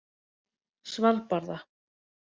Svalbarða